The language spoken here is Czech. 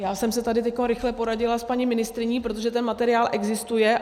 Já jsem se tady rychle poradila s paní ministryní, protože ten materiál existuje.